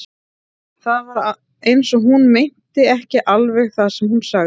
Það var eins og hún meinti ekki alveg það sem hún sagði.